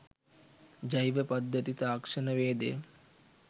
ජෛව පද්ධති තාක්ෂණවේදය